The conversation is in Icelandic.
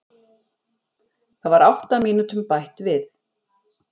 Það var átta mínútum bætt við